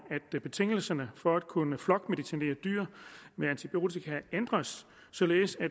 at betingelserne for at kunne flokmedicinere dyr med antibiotika ændres således at